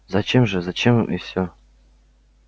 зачем же зачем и всё